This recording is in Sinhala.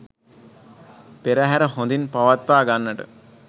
පෙරහැර හොඳින් පවත්වා ගන්නට